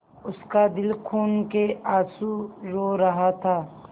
उसका दिल खून केआँसू रो रहा था